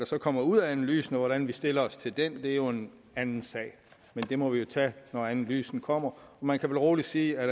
så kommer ud af analysen og hvordan vi stiller os til den er jo en anden sag men den må vi jo tage når analysen kommer man kan vel roligt sige at